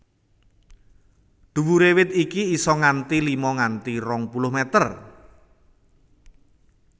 Dhuwuré wit iki isa nganti lima nganti rong puluh meter